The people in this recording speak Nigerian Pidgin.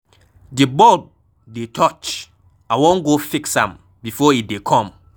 The bulb dey touch, I wan go fix am before e dey come.